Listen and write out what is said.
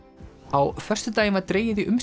á föstudaginn var dregið í